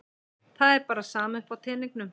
Það er bara sama upp á teningnum.